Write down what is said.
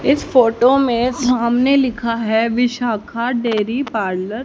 इस फोटो में सामने लिखा है विशाखा डेरी पार्लर ।